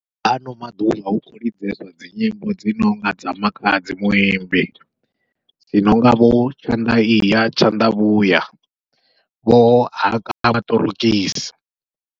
Ano maḓuvha hu kho lidzesa dzi nyimbo dzi nonga dza makhadzi muimbi, dzi nonga vho tshanḓa iya tshanḓa vhuya vho haka maṱorokisi.